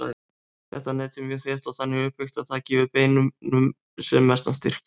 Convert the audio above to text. Þetta net er mjög þétt og þannig uppbyggt að það gefi beininu sem mestan styrk.